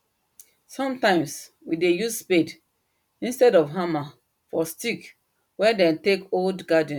sometimes we dey use spade instead of hammer for stick wen them take hold garden